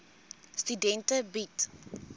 studente bied